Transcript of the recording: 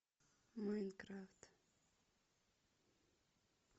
майнкрафт